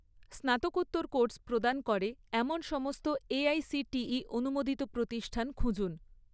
স্নাতকোত্তর কোর্স প্রদান করে এমন সমস্ত এআইসিটিই অনুমোদিত প্রতিষ্ঠান খুঁজুন